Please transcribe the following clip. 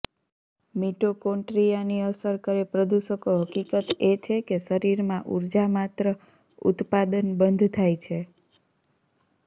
મિટોકોન્ટ્રીયાની અસર કરે પ્રદૂષકો હકીકત એ છે કે શરીરમાં ઊર્જા માત્ર ઉત્પાદન બંધ થાય છે